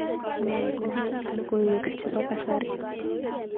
Nee metitab logoiwek chebo kasari